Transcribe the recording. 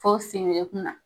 Fo sengeden kun na.